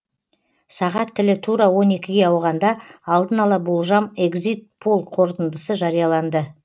сағат тілі тура он екіге ауғанда алдын ала болжам эгзит пол қорытындысы жарияланды